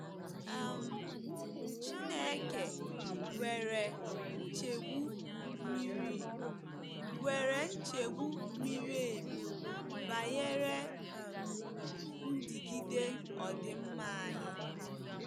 um Chineke nwere nchegbu miri nwere nchegbu miri emi banyere um ndigide ọdịmma anyị.